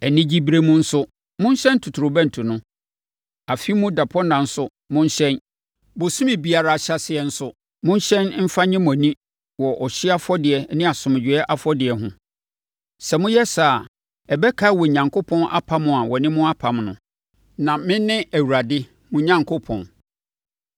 Anigyeberɛ mu nso, monhyɛn ntotorobɛnto no. Afe mu dapɔnna nso, monhyɛn. Bosome biara ahyɛaseɛ nso, monhyɛ mfa nnye mo ani wɔ ɔhyeɛ afɔdeɛ ne asomdwoeɛ afɔdeɛ ho. Sɛ moyɛ saa a, ɛbɛkae Onyankopɔn apam a ɔne mo apam no. Na mene Awurade mo Onyankopɔn.”